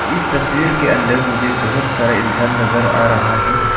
इस तस्वीर के अंदर मुझे बहुत सारे इंसान नजर आ रहा है।